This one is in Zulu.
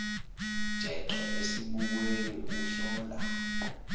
jeqe esibukweni uhlola